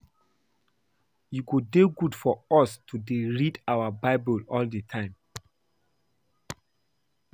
E go dey good for us to dey read our bible all the time